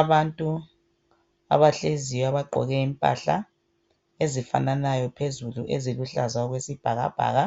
Abantu abahleziyo abagqoke impahla ezifananayo phezulu eziluhlaza okwesibhakabhaka.